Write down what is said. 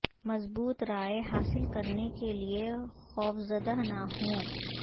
مضبوط رائے حاصل کرنے کے لئے خوفزدہ نہ ہوں